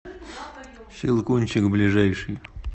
щелкунчик ближайший